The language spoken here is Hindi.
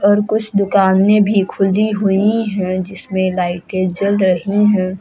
और कुछ दुकानें भी खुली हुई हैं जिसमें लाइटें जल रही हैं।